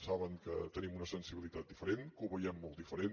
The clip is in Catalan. saben que tenim una sensibilitat diferent que ho veiem molt diferent